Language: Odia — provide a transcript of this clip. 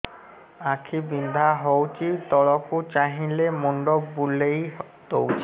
ଆଖି ବିନ୍ଧା ହଉଚି ତଳକୁ ଚାହିଁଲେ ମୁଣ୍ଡ ବୁଲେଇ ଦଉଛି